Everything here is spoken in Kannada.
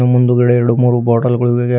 ಮುಂದುಗಡೆ ಎರಡು ಮೂರು ಬಾಟಲ್ ಗಳಿವೆ.